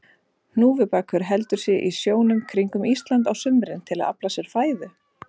Hnúfubakur heldur sig í sjónum kringum Ísland á sumrin til að afla sér fæðu.